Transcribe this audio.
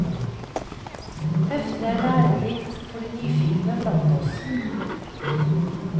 Heftet er lærerikt for de nyfikne blant oss.